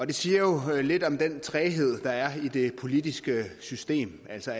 det siger jo lidt om den træghed der er i det politiske system altså